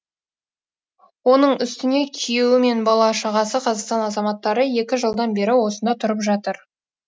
оның үстіне күйеуі мен бала шағасы қазақстан азаматтары екі жылдан бері осында тұрып жатыр